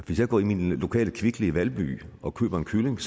hvis jeg går ind i den lokale kvickly i valby og køber en kylling